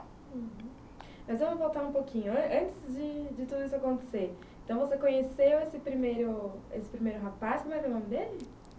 Uhum... Mas vamos voltar um pouquinho... antes de... de tudo isso acontecer, você conheceu esse primeiro rapaz, qual era o nome dele?